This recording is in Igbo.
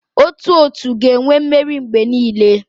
Otu otu ga-enwe mmeri mgbe niile.